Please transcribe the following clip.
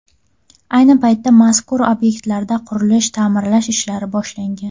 Ayni paytda mazkur obyektlarda qurilish-ta’mirlash ishlari boshlangan.